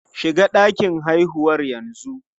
Shiga ɗakin haihuwar yanzu!